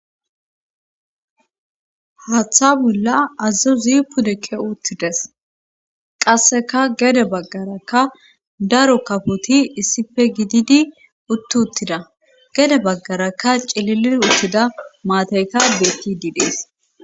haatha bolla azazo zipudekke uttides qasseka gede baggaraka daro kafoti issife gididi utti uttida gede baggaraka cililir uttida maatayka betti didees